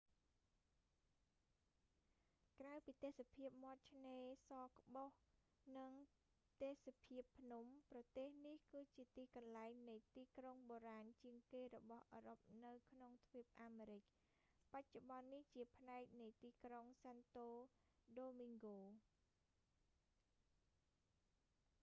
ក្រៅពីទេសភាពមាត់ឆ្នេរសក្បុស និងទេសភាពភ្នំ ប្រទេសនេះ គឺជាទីកន្លែងនៃទីក្រុងបូរាណជាងគេរបស់អឺរ៉ុបនៅក្នុងទ្វីបអាមេរិក បច្ចុប្បន្ននេះ ជាផ្នែកនៃទីក្រុង សាន់តូ ដូមីងហ្គោ